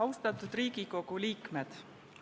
Austatud Riigikogu liikmed!